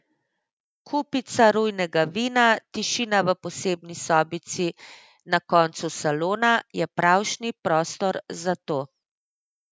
Kupica rujnega vina, tišina v posebni sobici na koncu salona je pravšnji prostor za to.